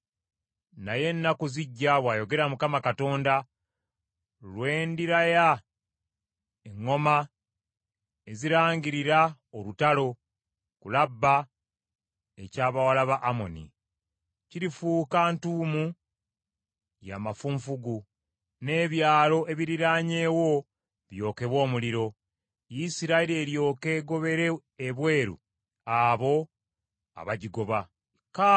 Naye ennaku zijja,” bw’ayogera Mukama Katonda, “lwe ndiraya eŋŋoma ezirangirira olutalo ku Labba eky’abawala ba Amoni. Kirifuuka ntuumu ya mafunfugu, n’ebyalo ebiriraanyeewo byokebwe omuliro. Isirayiri eryoke egobere ebweru abo abagigoba,” bw’ayogera Mukama Katonda.